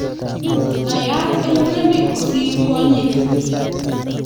Naiyat eng' murenik kosir kwonyik